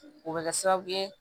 O bɛ kɛ sababu ye